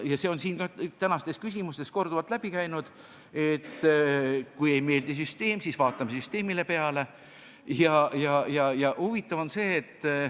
Ja ka täna on siin arutelus korduvalt läbi käinud, et kui süsteem ei meeldi, siis vaatame süsteemile peale.